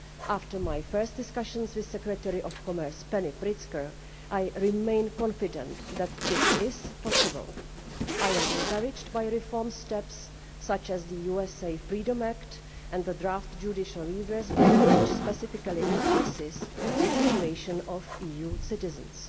After my first discussions with Secretary of Commerce Penny Pritzker, I remain confident that this is possible. I am encouraged by reform steps such as the USA Freedom Act and the draft Judicial Redress Bill, which specifically addresses the situation of EU citizens.